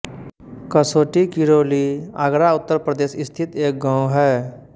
कसोटी किरौली आगरा उत्तर प्रदेश स्थित एक गाँव है